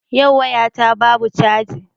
Yau waya ta babu caji.